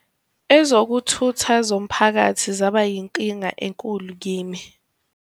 "Ezokuthutha zomphakathi zaba yinkinga enkulu kimi.